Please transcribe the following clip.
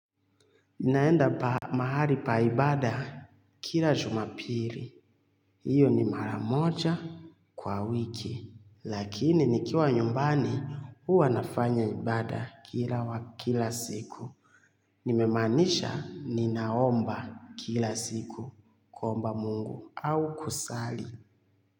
Naenda mahali pa ibaada kila jumapili. Hiyo ni mara moja kwa wiki. Lakini nikiwa nyumbani huwa nafanya ibaada kila wa kila siku. Nimemaanisha ninaomba kila siku kuomba mungu au kusali.